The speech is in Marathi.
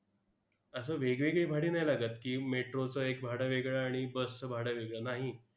असं वेगवेगळी भाडी नाही लागत की, metro चं एक भाडं वेगळं आणि bus चं भाडं वेगळं. नाही.